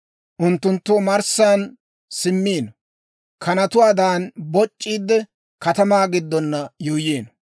Unttunttu omarssan simmiino; kanatuwaadan boc'c'iidde, katamaa giddon yuuyyiino.